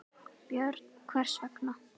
Björn: Hvers vegna?